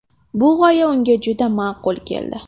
Bu g‘oya unga juda ma’qul keldi.